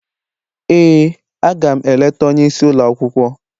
Ee, aga m eleta onye isi ụlọ akwụkwọ